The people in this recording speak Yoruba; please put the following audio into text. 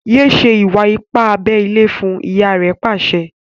yé ṣe Iwa-ipa abé ilé fún! ìyá rẹ pàṣẹ.